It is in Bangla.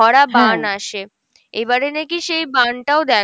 ভরা বান আসে, এবারে নাকি সেই বান টাও দেখা